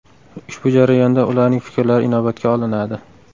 Ushbu jarayonda ularning fikrlari inobatga olinadi.